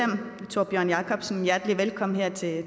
kommer jeg ikke til at